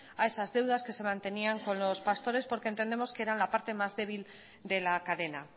a esas deudas que se mantenían con los pastores porque entendemos que eran la parte más débil de la cadena